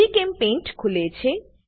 GChemPaintખુલે છે